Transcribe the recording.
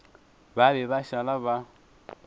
ba be ba šala ba